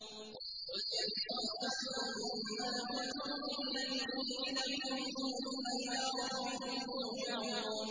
۞ قُلْ يَتَوَفَّاكُم مَّلَكُ الْمَوْتِ الَّذِي وُكِّلَ بِكُمْ ثُمَّ إِلَىٰ رَبِّكُمْ تُرْجَعُونَ